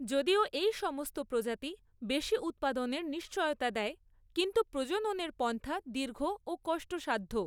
যদিও এই সমস্ত প্রজাতি বেশী উৎপাদনের নিশ্চয়তা দেয়, কিন্তু প্রজননের পন্থা দীর্ঘ ও কষ্টসাধ্য।